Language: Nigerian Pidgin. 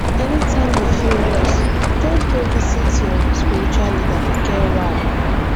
anytime you feel lost just go visit your spiritual leader e get why